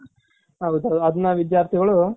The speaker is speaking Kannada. ಅದ್ನ ವಿಧ್ಯಾರ್ಥಿಗಳು